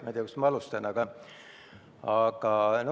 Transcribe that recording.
Ma ei tea, kust alustada.